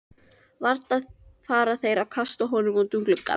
Varla fara þeir þó að kasta honum út um glugga!